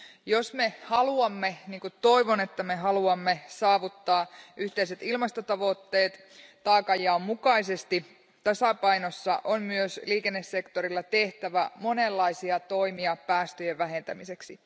Jos me haluamme, niin kuin toivon, että me haluamme, saavuttaa yhteiset ilmastotavoitteet taakanjaon mukaisesti tasapainossa, on myös liikennesektorilla tehtävä monenlaisia toimia päästöjen vähentämiseksi.